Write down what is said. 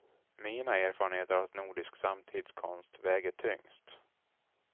Mina erfarenheter av nordisk samtidskonst väger tyngst.